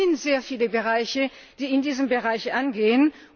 Es sind sehr viele Bereiche, die in diesen Bereich eingehen.